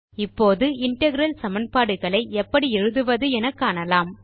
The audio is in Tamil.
இப்போது இன்டெக்ரல் சமன்பாடுகளை எபப்டி எழுதுவது என காணலாம்